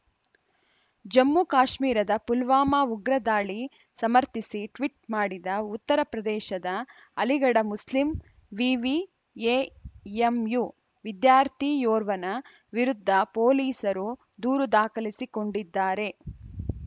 ಜಮ್ಮುಕಾಶ್ಮೀರದ ಪುಲ್ವಾಮಾ ಉಗ್ರ ದಾಳಿ ಸಮರ್ಥಿಸಿ ಟ್ವೀಟ್‌ ಮಾಡಿದ ಉತ್ತರ ಪ್ರದೇಶದ ಅಲಿಗಢ ಮುಸ್ಲಿಂ ವಿವಿ ಎಎಂಯು ವಿದ್ಯಾರ್ಥಿಯೋರ್ವನ ವಿರುದ್ಧ ಪೊಲೀಸರು ದೂರು ದಾಖಲಿಸಿಕೊಂಡಿದ್ದಾರೆ